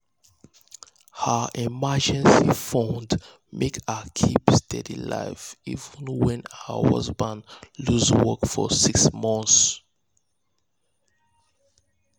her emergency fund make her keep steady life even when her husband lose work for six months.